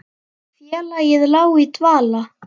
Félagið lá í dvala